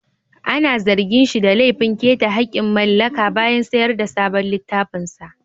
Ana zargin shi da laifin keta hakkin mallaka bayan sayar da sabon littafinsa